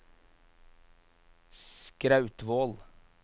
Skrautvål